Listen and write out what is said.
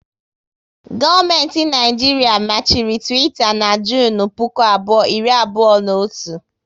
Gọọmenti Naijiria machiri Twitter na Junu puku abụọ, iri abụọ na otu